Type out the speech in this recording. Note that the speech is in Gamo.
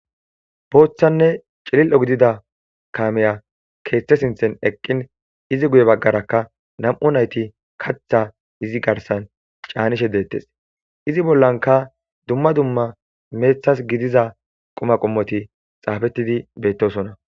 Boothane cilili'o gidida kamey keethe sinthan eqin izi guye bagara nam'u nayti katha izi garsan canishe detes izi bolla dumma dumma methas gidiza katha qomoti xaafeti de'osona